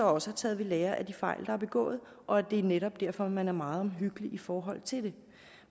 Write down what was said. også taget ved lære af de fejl der er begået og at det netop er derfor man er meget omhyggelig i forhold til det